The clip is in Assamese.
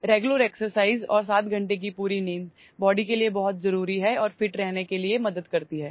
নিয়মিত ব্যায়াম আৰু ৭ ঘন্টা সম্পূৰ্ণ টোপনি শৰীৰৰ বাবে অতি প্ৰয়োজনীয় আৰু ফিট হৈ থকাত সহায় কৰে